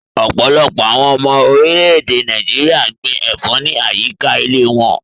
Ọpọlọpọ̀ awọn ọmọ orilẹ̀-èdè Nàìjíríà gbìn ẹ̀fọ̀ ni ayíkà ìlẹ̀ wọ̀n